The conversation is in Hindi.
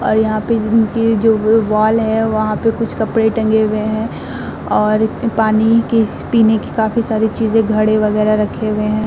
और यहां पे जो वॉल है वहां पे कुछ कपड़े टंगे हुए हैं और पानी किस पीने की काफी सारी चीज़ें घड़े वगैरह रखे हुए हैं।